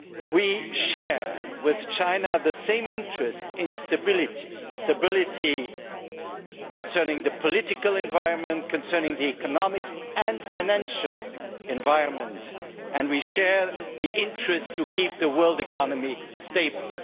We share with China the same interest in stability concerning the political environment and the economic and financial environment, and we share the interest of keeping the world economy stable.